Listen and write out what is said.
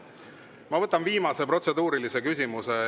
Ma võtan viimase protseduurilise küsimuse.